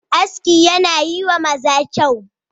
Aski yana yi wa maza kyau.